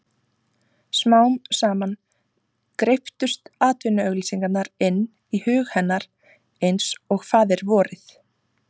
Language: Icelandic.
Smám saman greyptust atvinnuauglýsingarnar inn í hug hennar einsog Faðirvorið.